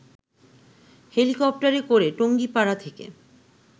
হেলিকপ্টারে করে টঙ্গিপাড়া থেকে